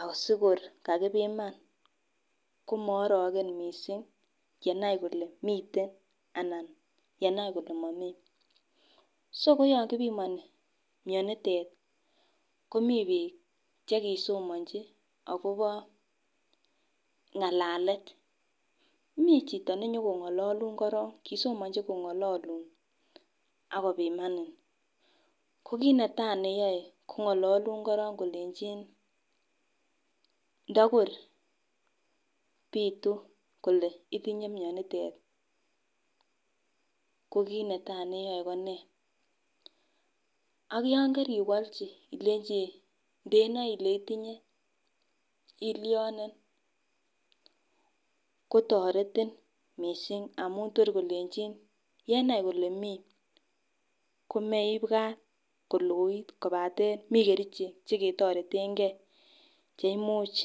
asikor kakipiman komo orogen missing yenai kole miten ana yenai kole momii so ko yon kipimoni mionitet kepimoni bik chekisomonchi akobo ngalalet. Mii chito nenyokongololun korong kosomonchi kongololun ak kopimani, ko kit netai neyoe kongololun korong kolenjin ndokor pitu kole itinye mionitet ko kit netai neyoe konee ak yon keriwolchi olenji ndenoe Ile itinye ilione kotoretin missing kolenjin yenai kole mii komebwa koloit Mii kerichek chekitoretengee cheimuch.